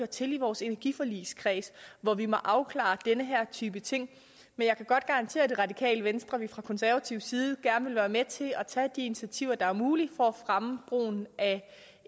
til i vores energiforligskreds hvor vi må afklare den her type ting men jeg kan godt garantere det radikale venstre at vi fra konservativ side gerne vil være med til at tage de initiativer der er mulige for at fremme brugen af